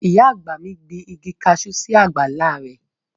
Ìyá àgbà mi gbin igi kaṣú sí àgbàlá rẹ̀